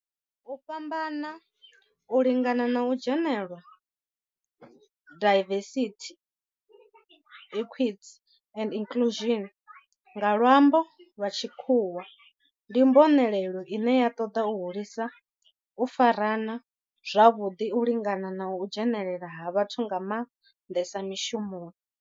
U fhambana, u lingana na u dzhenelela, diversity, equity and inclusion nga lwambo lwa tshikhuwa, ndi mbonelelo ine ya toda u hulisa u farana zwavhudi, u lingana na u dzhenelela ha vhathu nga mandesa mishumoni.